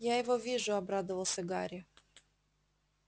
я его вижу обрадовался гарри